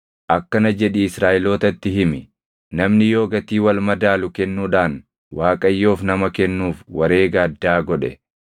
“Akkana jedhii Israaʼelootatti himi: ‘Namni yoo gatii wal madaalu kennuudhaan Waaqayyoof nama kennuuf wareega addaa godhe,